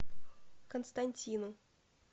константину